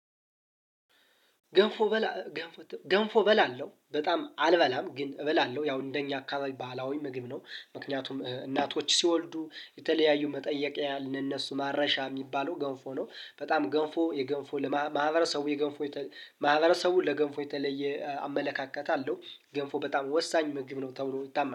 ገንፎ በላ ገንፎ በላ አለው በጣም አልበላም ግን እበላለሁ ያው እንደኛ አካባቢ ባህላዊ ምግብ ነው። ምክንያቱም እናቶች ሲወልዱ የተለያዩ መጠየቅ ያልነሱ ማረሻ የሚባለው ገንፎ ነው በጣም ገንፎ የገንፎ ለማህበረሰቡ የገንፎ ማህበረሰቡን ለገንፎ የተለየ አመለካከት አለው። ገንፎ በጣም ወሳኝ መግብ ነው ተብሎ ይታመናል